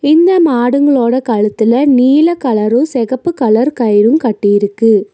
இந்த மாடுங்ளோட கழுத்துல நீல கலரு செகப்பு கலர் கயிரு கட்டியிருக்கு.